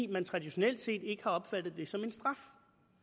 man traditionelt set ikke har opfattet det som en straf